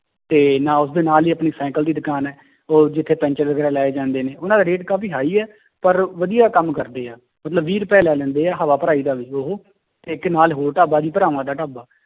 ਤੇ ਨਾ ਉਸਦੇ ਨਾਲ ਹੀ ਆਪਣੀ ਸਾਈਕਲ ਦੀ ਦੁਕਾਨ ਹੈ ਉਹ ਜਿੱਥੇ ਪੈਂਚਰ ਲਾਏ ਜਾਂਦੇ ਨੇ, ਉਹਨਾਂ ਦਾ rate ਕਾਫ਼ੀ high ਹੈ ਪਰ ਵਧੀਆ ਕੰਮ ਕਰਦੇ ਆ, ਮਤਲਬ ਵੀਹ ਰੁਪਏ ਲੈ ਲੈਂਦੇ ਹੈ ਹਵਾ ਭਰਾਈ ਦਾ ਉਹ ਤੇ ਇੱਕ ਨਾਲ ਹੋਰ ਢਾਬਾ ਵੀ ਭਰਾਵਾਂ ਦਾ ਢਾਬਾ